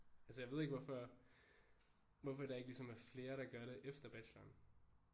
Altså jeg ved ikke hvorfor hvorfor der ikke ligesom er flere der gør det efter bacheloren